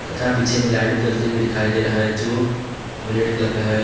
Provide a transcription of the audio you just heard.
तथा पीछे में लाइट भी जलता हुएं दिखाई दे रहा है जो रेड कलर का है।